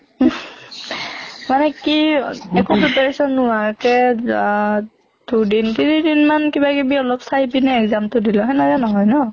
মানে কি একো preparation নোহোৱাকে আহ দুদিন তিনি দিন মান কিবা কিবি অলপ চাই পিনে exam টো দিলো, সেনেকে নহয় ন।